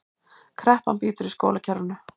Kreppan bítur í skólakerfinu